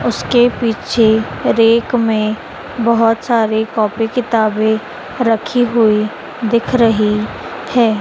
उसके पीछे रैक में बहुत सारे कॉपी किताबें रखी हुई दिख रही हैं।